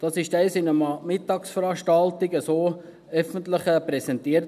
So wurde das einmal an einer Mittagsveranstaltung öffentlich präsentiert.